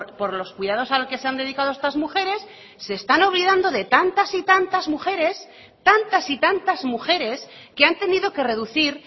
por los cuidados a los que se han dedicado estas mujeres se están olvidando de tantas y tantas mujeres tantas y tantas mujeres que han tenido que reducir